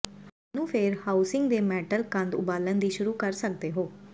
ਤੁਹਾਨੂੰ ਫਿਰ ਹਾਊਸਿੰਗ ਦੇ ਮੈਟਲ ਕੰਧ ਉਬਾਲਣ ਲਈ ਸ਼ੁਰੂ ਕਰ ਸਕਦੇ ਹੋ